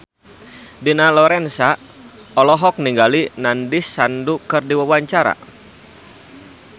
Dina Lorenza olohok ningali Nandish Sandhu keur diwawancara